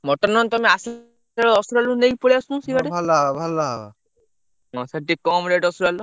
Mutton ନହେନେ ତମେ ଆସିଲାବେଳେ ଆସିଲାବେଳେ ତମେ ନେଇକି ପଲେଇଆସୁନ ସେଇପଟେ। mutton ପାଟିକେ କମ୍‌ rate ଅଛିପା ଅଇକା।